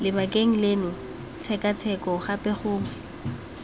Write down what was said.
lebakeng leno tshekatsheko gape gongwe